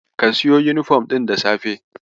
Ka siyo yunifom ɗin da safe.